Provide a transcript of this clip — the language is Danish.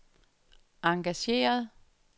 engageret